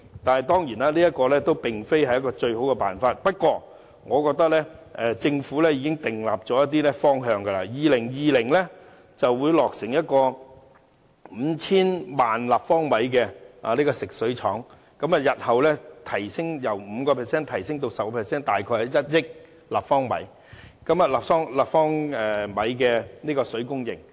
當然，這並非最好辦法，不過，我認為政府已確立了一些方向，例如將於2020年落成可提供 5,000 萬立方米的食水廠，日後將由 5% 提升至 10%， 大約是1億立方米的水供應。